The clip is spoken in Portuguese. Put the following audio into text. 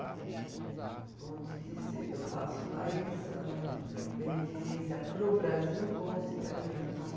Como eu te disse, eu faço mais, ahn, beneficência para o Brasil com os italianos. Ah.